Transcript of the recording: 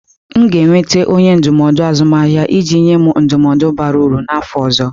M ga-enweta onye ndụmọdụ azụmahịa iji nye m ndụmọdụ bara uru n'afọ ọzọ.